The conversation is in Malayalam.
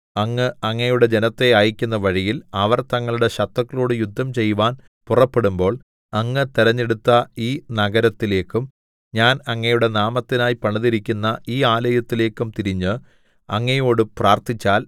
അങ്ങ് അങ്ങയുടെ ജനത്തെ അയക്കുന്ന വഴിയിൽ അവർ തങ്ങളുടെ ശത്രുക്കളോടു യുദ്ധം ചെയ്‌വാൻ പുറപ്പെടുമ്പോൾ അങ്ങ് തെരഞ്ഞെടുത്ത ഈ നഗരത്തിലേക്കും ഞാൻ അങ്ങയുടെ നാമത്തിനായി പണിതിരിക്കുന്ന ഈ ആലയത്തിലേക്കും തിരിഞ്ഞ് അങ്ങയോടു പ്രാർത്ഥിച്ചാൽ